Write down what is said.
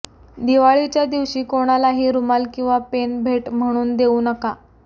दिवाळीच्या दिवशी कोणालाही रुमाल किंवा पेन भेट म्हणून देऊ नका